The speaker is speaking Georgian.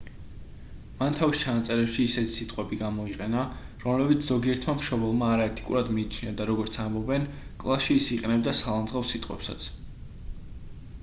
მან თავის ჩანაწერებში ისეთი სიტყვები გამოიყენა რომლებიც ზოგიერთმა მშობელმა არაეთიკურად მიიჩნია და როგორც ამბობენ კლასში ის იყენებდა სალანძღავ სიტყვებსაც